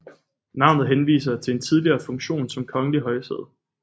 Navnet henviser til en tidligere funktion som kongelig højsæde